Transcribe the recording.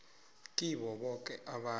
kibo boke abantu